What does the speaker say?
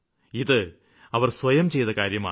ഇത് അവര് സ്വയം ചെയ്ത കാര്യമാണ്